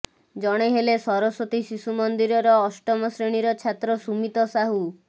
ଜଣେ ହେଲେ ସରସ୍ବତୀ ଶିଶୁମନ୍ଦିରର ଅଷ୍ଟମ ଶ୍ରେଣୀର ଛାତ୍ର ସୁମିତ ସାହୁ